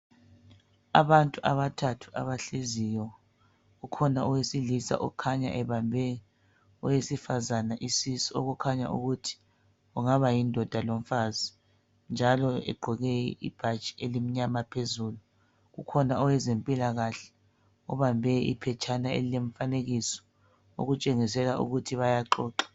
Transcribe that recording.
Abantu abathathu abahleziyo, ukhona owesilisa okhanya ebambe owesifazane isisu okukhanya ukuthi kungaba yindoda lomfazi njalo egqoke ibhatshi elimnyama phezulu. Kukhona owezempilakahle obambe iphetshana elilemfanekiso okutshengisela ukuthi bayaxoxa